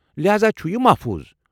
لہاذا چھُ یہِ محفوٗظ۔ ۔